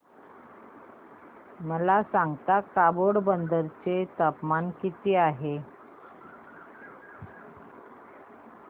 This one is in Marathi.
मला सांगता का पोरबंदर चे तापमान किती आहे